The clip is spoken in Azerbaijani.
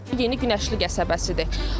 Yeni Günəşli qəsəbəsidir.